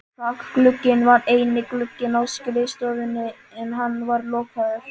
Þakglugginn var eini glugginn á skrifstofunni en hann var lokaður.